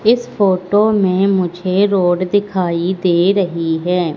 इस फोटो में मुझे रोड दिखाई दे रही है।